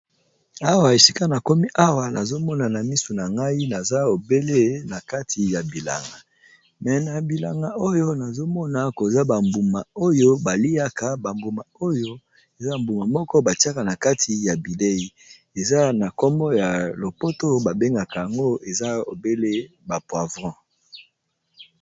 Awa esika na komi awa nazo mona na misu na ngai naza obele na kati ya bilanga me na bilanga oyo nazo mona koza ba mbuma oyo ba liaka ba mbuma oyo eza mbuma moko ba tiaka na kati ya bilei eza na kombo ya lopoto ba bengaka yango eza obele ba poivron.